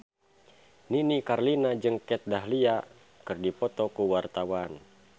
Nini Carlina jeung Kat Dahlia keur dipoto ku wartawan